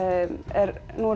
er